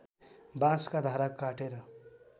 बाँसका धारा काटेर